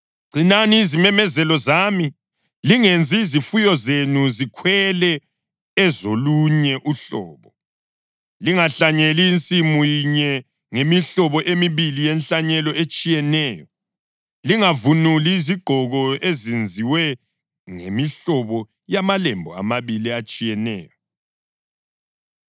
Gcinani izimemezelo zami. Lingenzi izifuyo zenu zikhwele ezolunye uhlobo. Lingahlanyeli insimu yinye ngemihlobo emibili yenhlanyelo etshiyeneyo. Lingavunuli izigqoko ezenziwe ngemihlobo yamalembu amabili atshiyeneyo.